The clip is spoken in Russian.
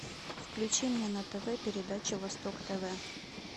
включи мне на тв передачу восток тв